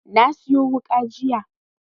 Na siyo wuƙa jiya